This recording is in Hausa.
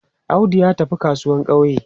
Audu ya tafi kasuwan ƙauye.